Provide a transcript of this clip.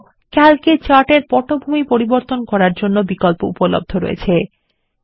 এছাড়াও ক্যালক এ চার্ট এর পটভূমি পরিবর্তন করার জন্য বিকল্প উপলব্ধ রয়েছে